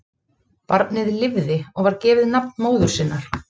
Barnið lifði og var gefið nafn móður sinnar.